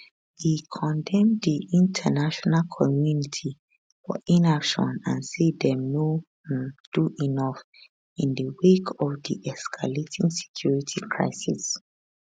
e condemn di international community for inaction and say dem no um do enough in di wake of di escalating security crisis